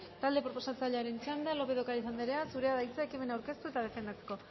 talde proposatzailearen txanda lópez de ocariz andrea zurea da hitza ekimena aurkeztu eta defendatzeko